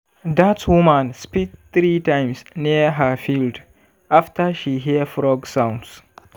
dat woman spit three times near her field after she hear frog sounds.